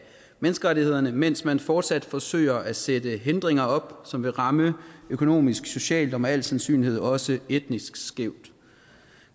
menneskerettighederne mens man fortsat forsøger at sætte hindringer op som vil ramme økonomisk socialt og med al sandsynlighed også etnisk skævt